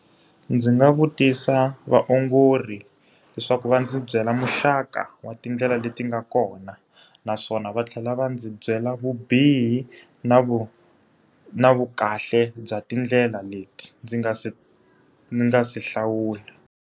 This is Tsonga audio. Ndzi nga vutisa vaongori leswaku va ndzi byela muxaka wa tindlela leti nga kona, naswona va tlhela va ndzi byela vubihi na vu na vu kahle bya tindlela leti ndzi nga si ni nga si hlawula.